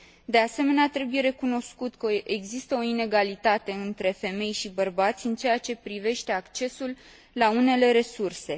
De asemenea, trebuie recunoscut că există o inegalitate între femei și bărbați în ceea ce privește accesul la unele resurse.